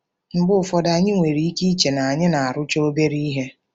Mgbe ụfọdụ, anyị nwere ike iche na anyị na-arụcha obere ihe.